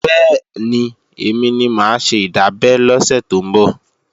Bẹ́ẹ̀ni, èmi ni mà á ṣe ìdábẹ́ lọ́sẹ̀ tó ń bọ̀